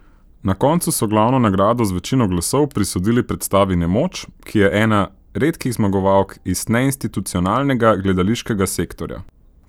Na koncu so glavno nagrado z večino glasov prisodili predstavi Nemoč, ki je ena redkih zmagovalk iz neinstitucionalnega gledališkega sektorja.